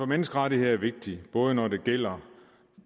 menneskerettigheder er vigtig både når det gælder